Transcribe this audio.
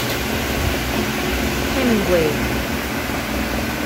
хэмингвэй